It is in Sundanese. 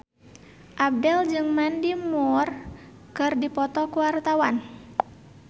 Abdel jeung Mandy Moore keur dipoto ku wartawan